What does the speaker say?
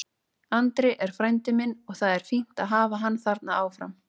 Andri er frændi minn og það er fínt að hafa hann þarna áfram.